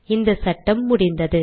இந்த சட்டம் முடிந்தது